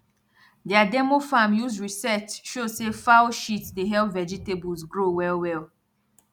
their demo farm use research show say fowl shit dey help vegetables grow well well